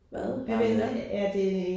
Hvad er det?